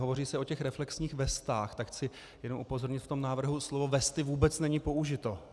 Hovoří se o těch reflexních vestách, tak chci jenom upozornit - v tom návrhu slovo vesty vůbec není použito.